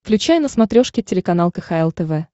включай на смотрешке телеканал кхл тв